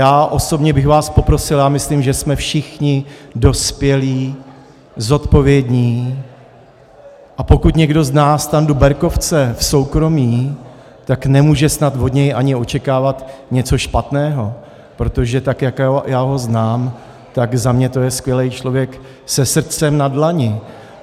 Já osobně bych vás poprosil - a myslím, že jsme všichni dospělí, zodpovědní, a pokud někdo zná Standu Berkovce v soukromí, tak nemůže snad od něj ani očekávat něco špatného, protože tak jak já ho znám, tak za mě je to skvělý člověk se srdcem na dlani.